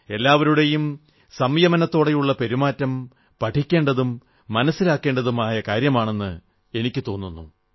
എല്ലാവരുടെയും സംയമനത്തോടെയുള്ള പെരുമാറ്റം പഠിക്കേണ്ടതും മനസ്സിലാക്കേണ്ടതുമായ കാര്യമാണെന്ന് എനിക്കു തോന്നുന്നു